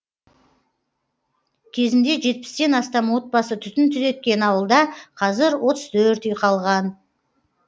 кезінде жетпістен астам отбасы түтін түтеткен ауылда қазір отыз төрт үй қалған